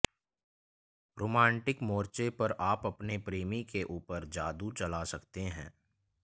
romantic मोर्चे पर आप अपने प्रेमी के उपर जादू चला सकते हैं